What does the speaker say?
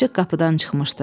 Açıq qapıdan çıxmışdı.